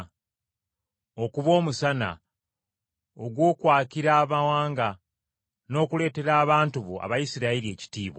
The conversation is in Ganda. okuba Omusana ogw’okwakira amawanga. N’okuleetera abantu bo Abayisirayiri ekitiibwa!”